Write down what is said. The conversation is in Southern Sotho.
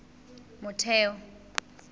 motheo